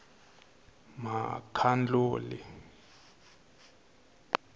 makhanduli